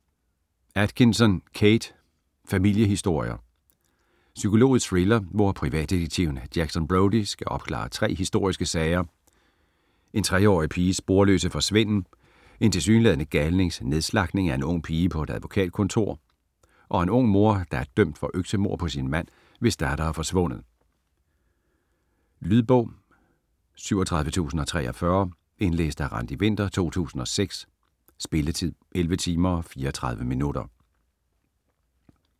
Atkinson, Kate: Familiehistorier Psykologisk thriller, hvor privatdetektiven Jackson Brodie skal opklare tre historiske sager: en 3 årig piges sporløse forsvinden, en tilsyneladende galnings nedslagtning af en ung pige på et advokatkontor og en ung mor, der er dømt for øksemord på sin mand, hvis datter er forsvundet. Lydbog 37043 Indlæst af Randi Winther, 2006. Spilletid: 11 timer, 34 minutter.